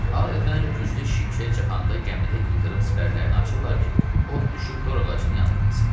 Adətən, güclü şimşək çaxanda gəmidə ildırım sipərlərini açırlar ki, od düşüb dor ağacını yandırmasın.